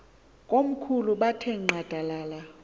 komkhulu bethe nqadalala